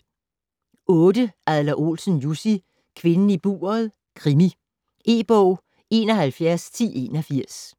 Adler-Olsen, Jussi: Kvinden i buret: krimi E-bog 711081